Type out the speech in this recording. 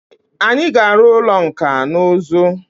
Anyi ga aru ulo nka na uzu.